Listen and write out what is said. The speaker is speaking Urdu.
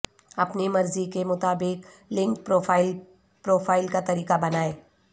اپنی مرضی کے مطابق لنکڈ پروفائل پروفائل کا طریقہ بنائیں